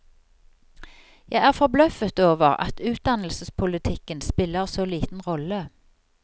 Jeg er forbløffet over at utdannelsespolitikken spiller så liten rolle.